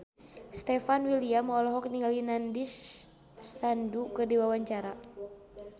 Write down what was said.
Stefan William olohok ningali Nandish Sandhu keur diwawancara